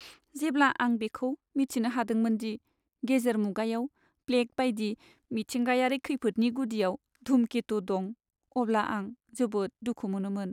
जेब्ला आं बेखौ मिथिनो हादोंमोन दि गेजेर मुगायाव प्लेग बायदि मिथिंगायारि खैफोदनि गुदियाव धुमकेतु दं, अब्ला आं जोबोद दुखु मोनोमोन।